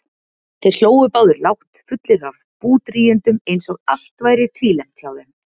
Þeir hlógu báðir lágt, fullir af búdrýgindum eins og allt væri tvílembt hjá þeim.